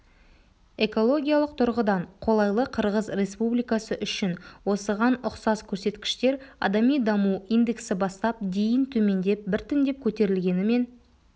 экологиялық тұрғыдан қолайлы қырғыз республикасы үшін осыған ұқсас көрсеткіштер адами даму индексі бастап дейін төмендеп біртіндеп көтерілгенімен